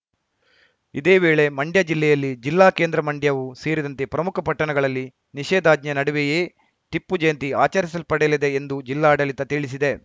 ಇದೇವೇಳೆ ಮಂಡ್ಯ ಜಿಲ್ಲೆಯಲ್ಲಿ ಜಿಲ್ಲಾ ಕೇಂದ್ರ ಮಂಡ್ಯವೂ ಸೇರಿದಂತೆ ಪ್ರಮುಖ ಪಟ್ಟಣಗಳಲ್ಲಿ ನಿಷೇಧಾಜ್ಞೆ ನಡುವೆಯೇ ಟಿಪ್ಪು ಜಯಂತಿ ಆಚರಿಸಲ್ಪಡಲಿದೆ ಎಂದು ಜಿಲ್ಲಾಡಳಿತ ತಿಳಿಸಿದೆ